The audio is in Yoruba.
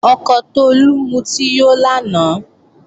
Ọkọ Tolú mutí yó lánàá